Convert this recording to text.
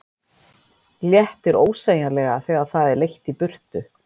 Léttir ósegjanlega þegar það er leitt í burtu.